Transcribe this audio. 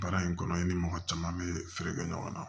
Baara in kɔnɔ i ni mɔgɔ caman bɛ feere kɛ ɲɔgɔn na